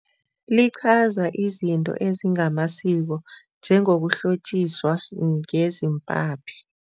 Liqhaza izinto ezingamasiko njengokuhlotjiswa ngezimpaphi.